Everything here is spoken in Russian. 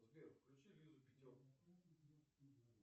сбер включи лизу пятерку